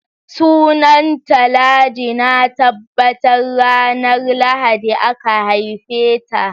Sunanta Ladi, na tabbata ranar Lahadi aka haife ta